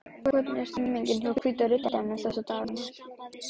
Hvernig er stemningin hjá Hvíta Riddaranum þessa dagana?